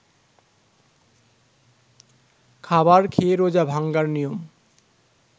খাবার খেয়ে রোজা ভাঙ্গার নিয়ম